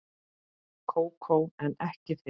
Kókó en ekki þig.